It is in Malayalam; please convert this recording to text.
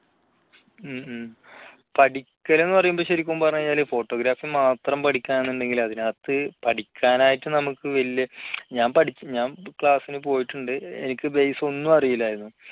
മ് മ് പഠിക്കൽ എന്ന് പറയുമ്പോൾ ശരിക്കും പറഞ്ഞാൽ photography മാത്രം പഠിക്കുകയാണെന്നുണ്ടെങ്കിൽ അതിനകത്ത് പഠിക്കാൻ ആയിട്ട് നമുക്ക് വലിയ ഞാൻ പഠിച്ച ഞാൻ class ന് പോയിട്ടുണ്ട് എനിക്ക് base ഒന്നും അറിയില്ലായിരുന്നു.